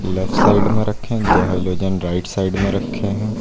Left side में रखे है दो हाईलोजन राइट साइड में रखे है।